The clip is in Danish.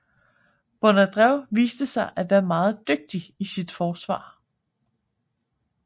Bondarev viste sig at være meget dygtig i forsvar